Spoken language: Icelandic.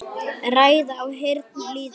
Ræða í áheyrn lýða.